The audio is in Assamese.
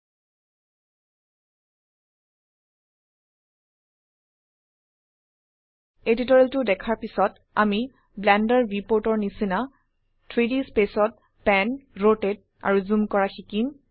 এই টিউটোৰিয়েলটো দেখাৰ পিছত আমি ব্লেন্ডাৰ ভিউপোৰ্ট এৰ নিচিনা 3ডি স্পেচ ত প্যান ৰোটেট আৰু জুম কৰা শিকিম